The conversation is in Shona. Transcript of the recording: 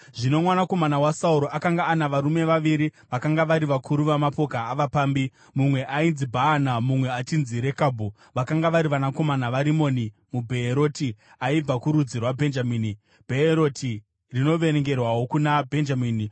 Zvino mwanakomana waSauro akanga ana varume vaviri vakanga vari vakuru vamapoka avapambi. Mumwe ainzi Bhaana mumwe achinzi Rekabhu; vakanga vari vanakomana vaRimoni muBheeroti aibva kurudzi rwaBhenjamini (Bheeroti rinoverengerwawo kuna Bhenjamini,